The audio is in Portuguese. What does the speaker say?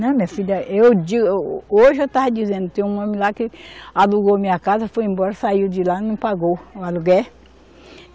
Não, minha filha, eu di, o, hoje eu estava dizendo, tem um homem lá que alugou minha casa, foi embora, saiu de lá, não pagou o aluguel.